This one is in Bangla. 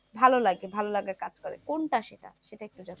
ভালো লাগে ভালো লাগার কাজ করে। কোনটা সেটা সেটা একটু জানতে?